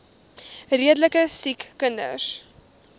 redelike siek kinders